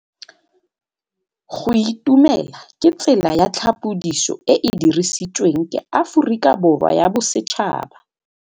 Go itumela ke tsela ya tlhapolisô e e dirisitsweng ke Aforika Borwa ya Bosetšhaba.